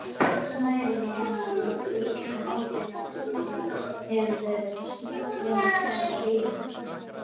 Snæri má vinna úr ull en ódýrara hefur verið að vinna snæri úr líni.